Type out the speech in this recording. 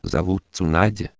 зовут цена